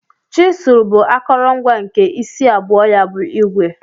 Chizul bu akọrọngwa nke isi abụọ ya bu igwe.